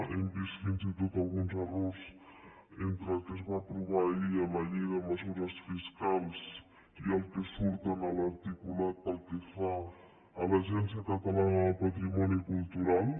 hem vist fins i tot alguns errors entre el que es va aprovar ahir a la llei de mesures fiscals i el que surt en l’articulat pel que fa a l’agència catalana del patrimoni cultural